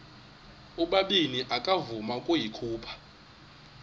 ubabini akavuma ukuyikhupha